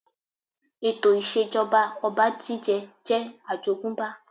Ètò ìṣèjọba ọba jíjẹ jẹ́ àjogúnbá